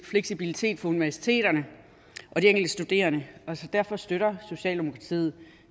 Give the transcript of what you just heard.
fleksibilitet for universiteterne og de enkelte studerende og derfor støtter socialdemokratiet